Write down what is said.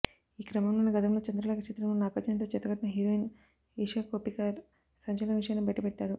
ఈ క్రమంలోనే గతంలో చంద్రలేఖ చిత్రంలో నాగార్జునతో జతకట్టిన హీరోయిన్ ఇషా కొప్పికర్ సంచలన విషయాన్ని బయటపెట్టారు